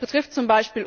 Das betrifft z.